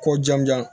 Ko jamujan